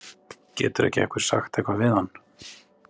Getur ekki einhver sagt eitthvað við hann?